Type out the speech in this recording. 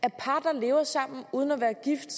at par der lever sammen uden at være gift